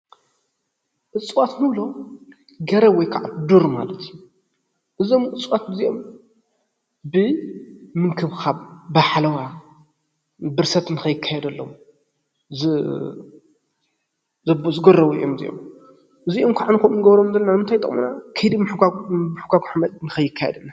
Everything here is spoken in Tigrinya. እፅዋት እንብሎም ገረብ ወይ ኸዓ ዱር ማለት እዪ። እዞም እፅዋት እዚኦም ብምንክብኻብ ፣ ብሓለዋ፣ ብርሰት ንከይካየደሎም ዝገረቡ እዮም እዚኦም ። ኢዚኦም ከዓ ከምኡ ንገብሮም ዘለና ንምንታይ ይጠቅሙና ከይዲ ሞብሕጓግ ሓመድ ኸይካየደሎም ንምክልኻል እዩ።